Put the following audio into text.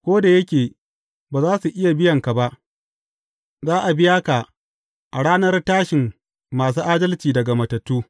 Ko da yake ba za su iya biyan ka ba, za a biya ka a ranar tashin masu adalci daga matattu.